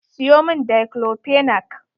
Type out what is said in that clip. Siyo mun Daiclofenac.